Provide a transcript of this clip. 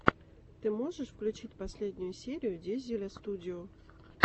ты можешь включить последнюю серию дизеля студио